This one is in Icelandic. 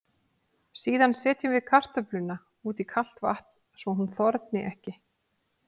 Síðan setjum við kartöfluna út í kalt vatn svo hún þorni ekki.